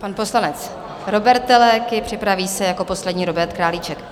Pan poslanec Róbert Teleky, připraví se jako poslední Robert Králíček.